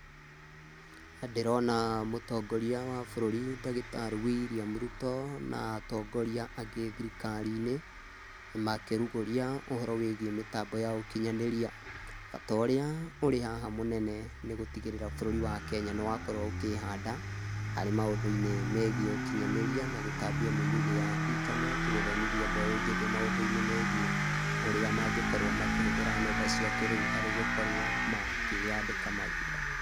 Ndĩrona mũtongoria wa bũrũri ndagĩtarĩ William Ruto, na atongoria angĩ thirikari-inĩ makĩrugũria ũhoro wĩgiĩ mĩtambo ya ũkinyanĩria. Bata ũrĩa ũrĩ haha mũnene nĩ gũtigĩrĩra bũrũri wa Kenya nĩ wakorwo ũkĩhanda, harĩ maũndũ-inĩ megiĩ ũkinyanĩria na gũtambia mĩnyugĩ ya intaneti gũthomithia mbeũ njĩthĩ maũndũ-inĩ megiĩ ũrĩa mangĩkorwo makĩhũthĩra nenda cia kĩrĩu harĩ gũkorwo makĩyandĩka mawĩra.